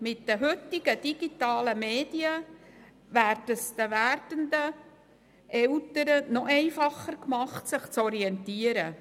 Mit den heutigen digitalen Medien wird es den werdenden Eltern noch einfacher gemacht sich zu orientieren.